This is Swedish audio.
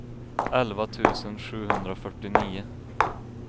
elva tusen sjuhundrafyrtionio